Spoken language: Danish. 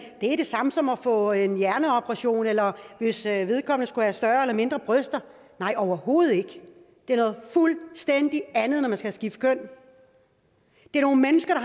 er det samme som at få en hjerneoperation eller hvis vedkommende skulle have større eller mindre bryster nej overhovedet ikke det er noget fuldstændig andet når man skal skifte køn det er nogle mennesker